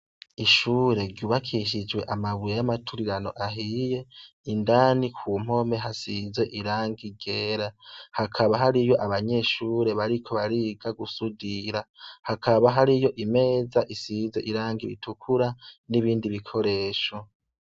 Ishure ryubakishijwe amabuye y'amaturirano ahiye, indani ku mpome asize irangi ryera. Hakaba hariyo abanyeshure bariko bariga gusudira. Hakaba hariyo imeza isize irangi ritukura n'ibindi bikoresho.